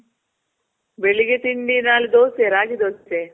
ಬೆಳಿಗ್ಗೆ ತಿಂಡಿ ನಾಳೆ ದೋಸೆ, ರಾಗಿ ದೋಸೆ.